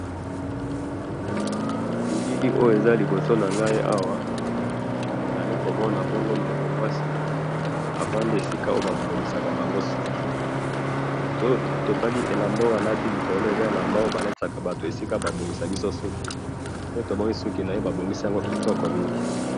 nabilili oyo eza liboso nangayi awa nazali komona bongo ndeko mwasi afandi esika fasi ba bongisaka biso ba suki ba bongisi yango kitoko mingi